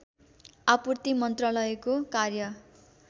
आपूर्ति मन्त्रालयको कार्य